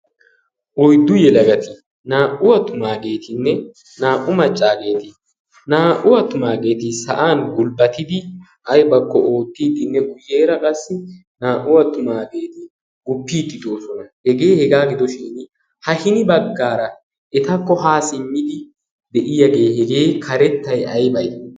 oyddu yelagati naa''u attumaageetinne naa''u maccaageeti naa''u attumaageeti sa'an gulbbatidi aybakko oottiiddinne guyyeera qassi naa''u attumaageeti guppiiddidoosona hegee hegaa gidoshin ha hini baggaara etakko haa simmidi de'iyaagee hegee karettay aybay